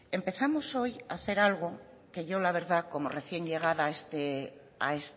empezamos hoy a hacer algo que yo la verdad como recién llegada a